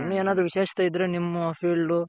ವಿಶೇಷತೆ ಇದ್ರೆ ನಿಮ್ಮು field